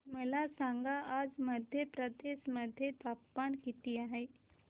मला सांगा आज मध्य प्रदेश मध्ये तापमान किती आहे